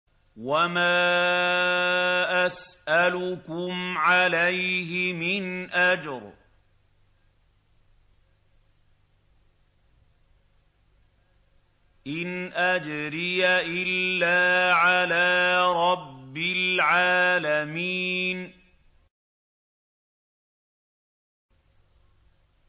وَمَا أَسْأَلُكُمْ عَلَيْهِ مِنْ أَجْرٍ ۖ إِنْ أَجْرِيَ إِلَّا عَلَىٰ رَبِّ الْعَالَمِينَ